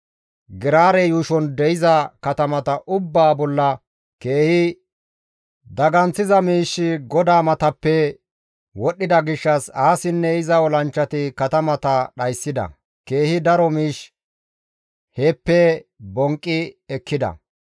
Geraare yuushon de7iza katamata ubbaa bolla keehi daganththiza miishshi GODAA matappe wodhdhida gishshas Aasinne iza olanchchati katamata dhayssida; keehi daro miish heeppe bonqqi ekkida.